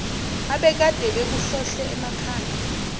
abekade bekuhlohle emakhanda